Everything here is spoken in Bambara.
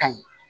Ka ɲi